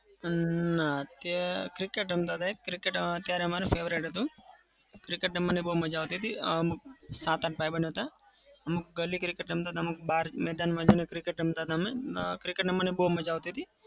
ના cricket રમતા હતા cricket અત્યારે અમારે favorite હતું. cricket રમવાની બઉ મજા આવતી હતી. અમ સાત-આઠ ભાઈબંધ હતા. અમુક ગલી cricket રમતા હતા. અમુક બહાર મેદાનમાં જઈને cricket રમતા હતા અમે. cricket રમવાની બઉ મજા આવતી હતી.